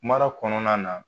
Mara kɔnɔna na